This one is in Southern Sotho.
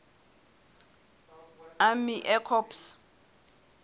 army air corps